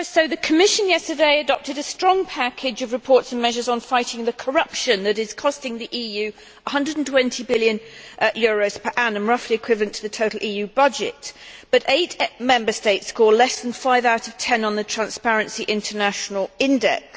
The Commission yesterday adopted a strong package of reports and measures on fighting the corruption that is costing the EU EUR 120 billion per annum roughly equivalent to the total EU budget but eight Member States score less than five out of ten on the Transparency International index.